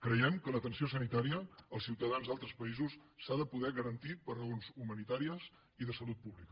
creiem que l’atenció sanitària als ciutadans d’altres països s’ha de poder garantir per raons humanitàries i de salut pública